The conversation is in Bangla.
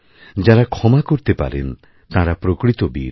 যাঁরা ক্ষমা করতেপারেন তাঁরা প্রকৃত বীর